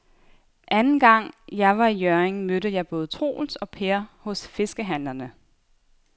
Anden gang jeg var i Hjørring, mødte jeg både Troels og Per hos fiskehandlerne.